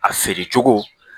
A feere cogo